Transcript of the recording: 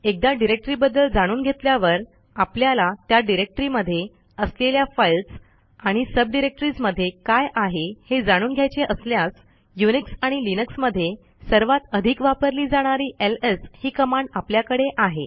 एकदा डिरेक्टरीबद्दल जाणून घेतल्यावर आपल्याला त्या डिरेक्टरीमध्ये असलेल्या फाईल्स आणि सबडिरेक्टरीज मध्ये काय आहे हे जाणून घ्यायचे असल्यास युनिक्स आणि लिनक्स मध्ये सर्वात अधिक वापरली जाणारी एलएस ही कमांड आपल्याकडे आहे